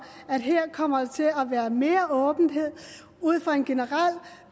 at her kommer der til at være mere åbenhed ud fra en generel